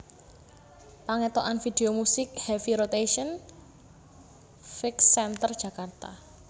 Pangethokan video musik Heavy Rotation fx Center Jakarta